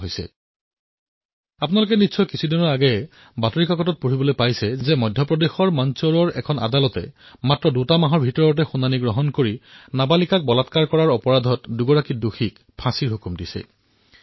কিছুদিন পূৰ্বে আপোনালোকে বাতৰি কাগজত পঢ়িছিল যে মধ্য প্ৰদেশৰ মন্দসোৰত এক ন্যায়ালয়ত কেৱল দুমাহৰ ভিতৰতে নাবালিকাক ধৰ্ষণ কৰাৰ অপৰাধত ফাঁচীৰ হুকুম শুনাইছিল